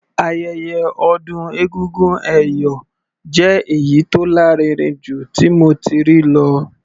Ayẹyẹ ọdún egúngún ẹ̀yọ̀ jẹ́ èyí tó lárinrin jù tí mo ti rí lọ.